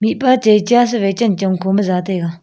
mihpa chai char sewai chanchong khoma ja taiga.